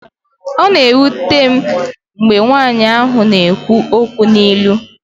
ọ na-ewute m mgbe nwanyị ahụ na-ekwu okwu n'ilu